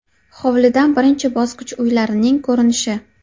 Hovlidan birinchi bosqich uylarining ko‘rinishi.